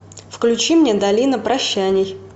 включи мне долина прощаний